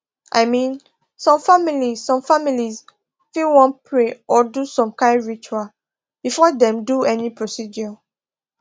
i mean some families some families fit wan pray or do some kind ritual before dem do any procedure